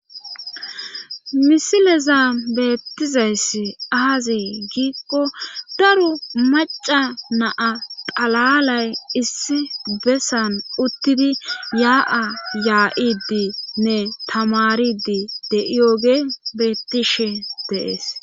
misilezan beettizayssi aazee giikko daro maca na,a xalalay issi bessan uttidi yaa7a yaa7idii nne tamaridi de7iyoge beettishe deees